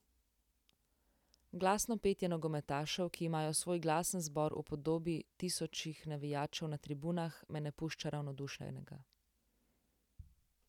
Glasno petje nogometašev, ki imajo svoj glasen zbor v podobi tisočih navijačev na tribunah, me ne pušča ravnodušnega.